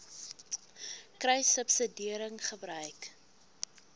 kruissubsidiëringgebruik